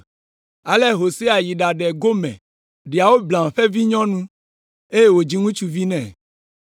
Ale Hosea yi ɖaɖe Gomer, Dioblaim ƒe vinyɔnu, eye wòdzi ŋutsuvi nɛ.